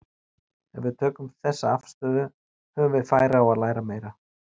Ef við tökum þessa afstöðu höfum við færi á að læra meira.